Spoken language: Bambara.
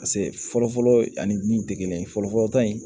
Paseke fɔlɔ fɔlɔ ani degeli fɔlɔfɔlɔ dɔ in